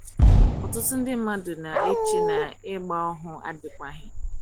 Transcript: ọtụtụ ndị mmadụ na - eche na ịgba ohu adịkwaghị.